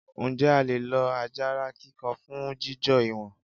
Ǹjẹ́ a lè lo àjàrà kíkan fún jíjò ìwọ̀n?